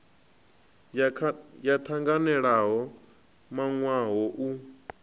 yo tanganelaho yo wanwaho u